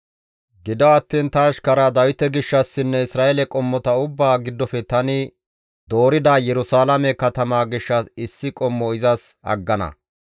Gido attiin ta ashkara Dawite gishshassinne Isra7eele qommota ubbaa giddofe tani doorida Yerusalaame katamaa gishshas issi qommo izas aggana.